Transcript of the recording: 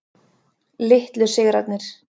Litlu sigrarnir.